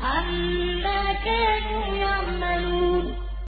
عَمَّا كَانُوا يَعْمَلُونَ